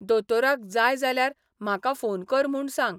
दोतोराक जाय जाल्यार म्हाका फोन कर म्हूण सांग.